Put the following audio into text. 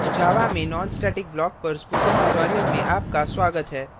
java java में nonstatic block nonstatic block पर spoken tutorial में आपका स्वागत है